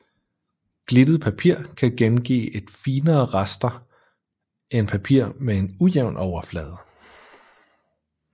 Glittet papir kan gengive et finere raster end papir med en ujævn overflade